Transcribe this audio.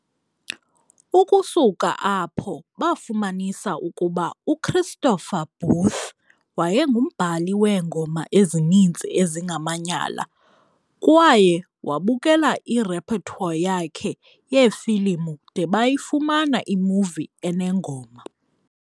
Ukusuka apho, bafumanisa ukuba uChristopher Booth wayengumbhali weengoma ezininzi ezingamanyala, kwaye wabukela irepertoire yakhe yeefilimu de bayifumana imuvi enengoma.